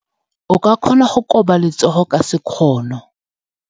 O ka kgona go koba letsogo ka sekgono.